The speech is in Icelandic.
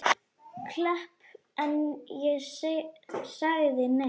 Klepp en ég sagði nei.